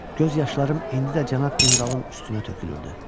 Göz yaşlarım indi də cənab generalın üstünə tökülürdü.